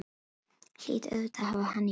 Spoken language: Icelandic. Hlýt auðvitað að hafa hann í blóðinu.